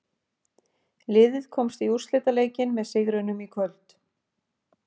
Liðið komst í úrslitaleikinn með sigrinum í kvöld.